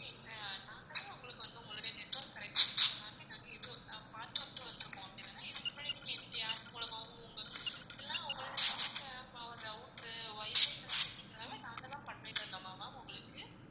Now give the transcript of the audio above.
நாங்க தான் உங்களுக்கு வந்து உங்களுடைய network corrections எல்லாமே நாங்க இவ்ளோ~ பார்த்துட்டு வந்திருக்கோம் அப்படி தானே இதுக்கு முன்னாடி நீங்க எந்த்~யார் மூலமாகவும் உங்க எல்லா~ உங்களோட system router wifi க்கான setting எல்லாமே நாங்க தான் பண்ணி தந்தோமா ma'am உங்களுக்கு